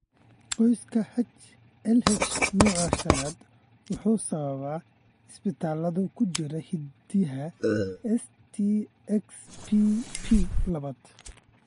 Qoyska HLH, nooca shanaad waxaa sababa isbeddellada ku jira hiddaha STXBP labaad.